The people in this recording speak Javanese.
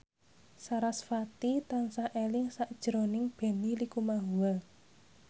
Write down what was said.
sarasvati tansah eling sakjroning Benny Likumahua